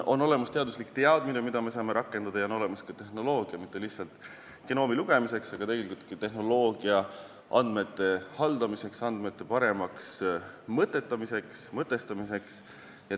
On olemas teaduslik teadmine, mida me saame rakendada, ja on olemas ka tehnoloogia, mitte lihtsalt genoomi lugemiseks, vaid ka andmete haldamiseks ja paremaks mõtestamiseks.